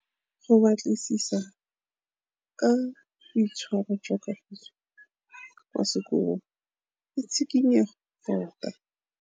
Go batlisisa ka boitshwaro jwa Kagiso kwa sekolong ke tshikinyêgô tota.